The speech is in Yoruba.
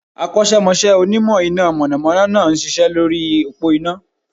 Akọ́sẹ́mọsẹ́ Onímọ̀ iná mọ̀nọ̀mọ́nọ́ náà n ṣiṣẹ́ lórí òpó iná